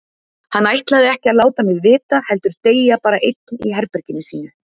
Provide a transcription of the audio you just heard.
Hann ætlaði ekki að láta mig vita heldur deyja bara einn í herberginu sínu.